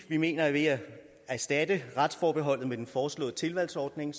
vi mener at ved at erstatte retsforbeholdet med den foreslåede tilvalgsordning